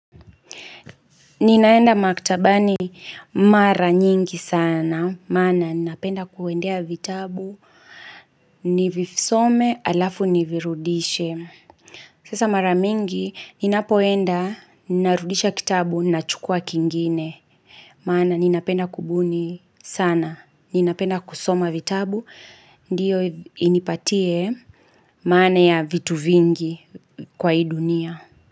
Ninaenda maktabani mara nyingi sana, maana ninapenda kuendea vitabu, nivisome alafu nivirudishe. Sasa mara mingi, ninapoenda ninarudisha kitabu nachukua kingine, maana ninapenda kubuni sana, ninapenda kusoma vitabu, ndiyo inipatie maana ya vitu vingi kwa hii dunia.